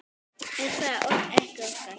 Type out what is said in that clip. Er það ekki Óskar?